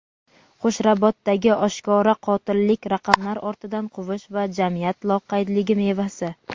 Qo‘shrabotdagi oshkora qotillik - raqamlar ortidan quvish va jamiyat loqaydligi mevasi.